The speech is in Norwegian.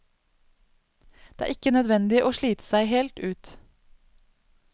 Det er ikke nødvendig å slite seg helt ut.